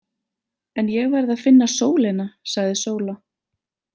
En ég verð að finna sólina, sagði Sóla.